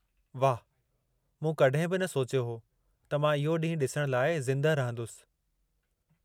वाह, मूं कॾहिं बि न सोचियो हो त मां इहो ॾींहुं डि॒सणु लाइ ज़िंदह रहंदुसि.